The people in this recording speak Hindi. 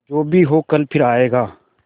जो भी हो कल फिर आएगा